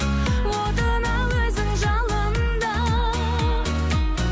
отына өзің жалында